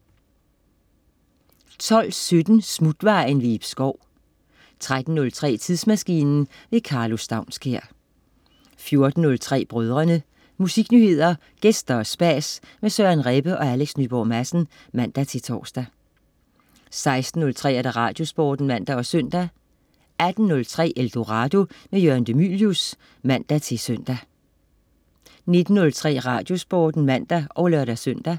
12.17 Smutvejen. Ib Schou 13.03 Tidsmaskinen. Karlo Staunskær 14.03 Brødrene. Musiknyheder, gæster og spas med Søren Rebbe og Alex Nyborg Madsen (man-tors) 16.03 Radiosporten (man og søn) 18.03 Eldorado. Jørgen de Mylius (man-søn) 19.03 Radiosporten (man og lør-søn)